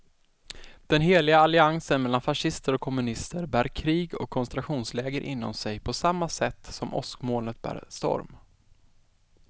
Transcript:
Den heliga alliansen mellan fascister och kommunister bär krig och koncentrationsläger inom sig på samma sätt som åskmolnet bär storm.